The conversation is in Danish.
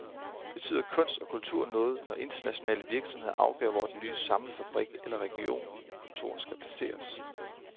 Betyder kunst og kultur noget, når internationale virksomheder afgør hvor den nye samlefabrik eller regionkontor skal placeres?